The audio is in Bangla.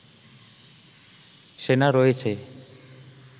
সেনা রয়েছে